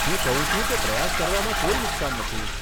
હું કહું છું કે પ્રયાસ કરવામાં કોઈ નુકસાન નથી.